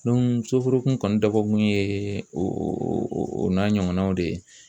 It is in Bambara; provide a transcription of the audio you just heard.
soforokun kɔni dabɔ kun ye o o o n'a ɲɔgɔnnaw de ye